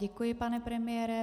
Děkuji, pane premiére.